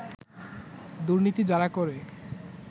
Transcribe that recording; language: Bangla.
দুর্নীতি যারা করে